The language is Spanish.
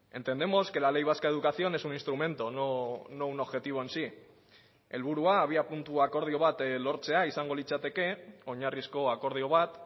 entendemos que la ley vasca de educación es un instrumento no un objetivo en sí helburua abiapuntu akordio bat lortzea izango litzateke oinarrizko akordio bat